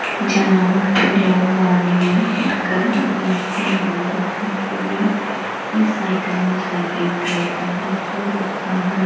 जहाँ पर लोग मॉर्निंग उठकर अपने आप को हेल्थी रखने के लिए इस साइकल में साइकिलिंग करते हैं जो लोग बाहर--